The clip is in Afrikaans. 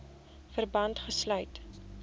verband gesluit